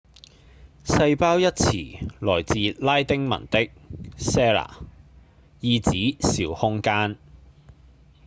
細胞一詞來自拉丁文的 cella 意指小空間